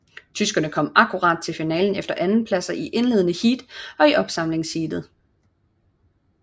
Tyskerne kom akkurat i finalen efter andenpladser i indledende heat og i opsamlingsheatet